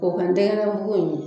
O ka ntɛgɛnɛko ye